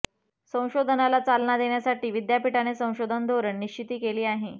संशोधनाला चालना देण्यासाठी विद्यापीठाने संशोधन धोरण निश्चिती केली आहे